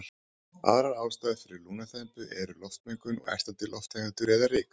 Aðrar ástæður fyrir lungnaþembu eru loftmengun og ertandi lofttegundir eða ryk.